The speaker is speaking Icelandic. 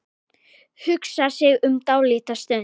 Hugsar sig um dálitla stund.